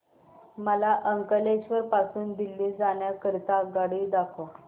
मला अंकलेश्वर पासून दिल्ली जाण्या करीता आगगाडी दाखवा